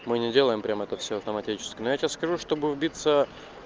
мы не делаем прямо это всё автоматически но я тебе скажу чтобы вбиться